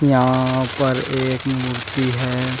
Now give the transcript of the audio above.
यहां पर एक मूर्ति है।